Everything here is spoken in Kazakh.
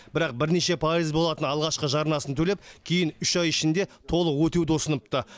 бірақ бірнеше пайыз болатын алғашқы жарнасын төлеп кейін үш ай ішінде толық өтеуді ұсыныпты